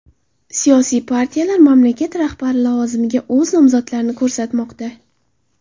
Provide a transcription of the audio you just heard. Siyosiy partiyalar mamlakat rahbari lavozimiga o‘z nomzodlarini ko‘rsatmoqda.